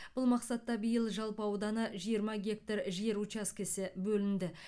бұл мақсатта биыл жалпы ауданы жиырма гектар жер учаскесі бөлінді